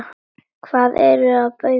Hvað ertu að bauka?